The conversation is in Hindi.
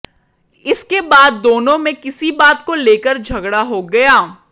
इसके बाद दोनों में किसी बात को लेकर झगड़ा हो गया